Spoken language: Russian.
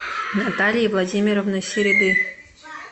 натальи владимировны середы